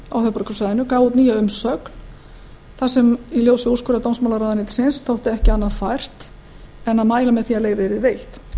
höfuðborgarsvæðinu gaf út nýja umsögn þar sem í ljósi úrskurðar dómsmálaráðuneytisins þótti ekki fært annað en að mæla með því að leyfið yrði veitt